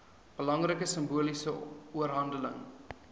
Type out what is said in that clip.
belangrike simboliese oorhandiging